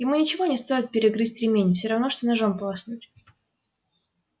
ему ничего не стоит перегрызть ремень всё равно что ножом полоснуть